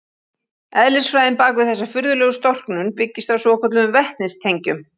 Eðlisfræðin bak við þessa furðulegu storknun byggist á svokölluðum vetnistengjum.